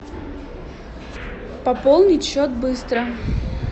пополнить счет быстро